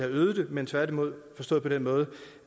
øget det men tværtimod forstået på den måde